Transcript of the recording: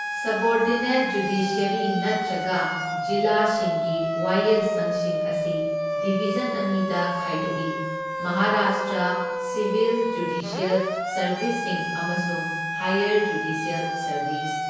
Subordinate judiciary ꯅꯠꯇ꯭ꯔꯒ ꯖꯤꯂꯥꯁꯤꯡꯒꯤ ꯋꯥꯌꯦꯜꯁꯪꯁꯤꯡ ꯑꯁꯤ ꯗꯤꯚꯤꯖꯟ ꯑꯅꯤꯗ ꯈꯥꯏꯗꯣꯛꯏ ꯃꯍꯥꯔꯥꯁꯇ꯭ꯔ ꯁꯤꯚꯤꯜ ꯖꯨꯗꯤꯁ꯭ꯌꯦꯜ ꯁꯔꯕꯤꯁꯁꯤꯡ ꯑꯃꯁꯨꯡ ꯍꯥꯏꯌꯔ ꯖꯨꯗꯤꯁ꯭ꯌꯦꯜ ꯁꯔꯕꯤꯁ꯫